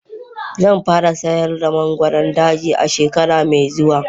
Zan fara sayar da mangoron daji a shekara mai zuwa.